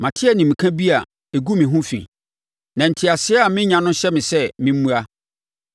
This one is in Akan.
Mate animka bi a ɛgu me ho fi, na nteaseɛ a menya no hyɛ me sɛ memmua.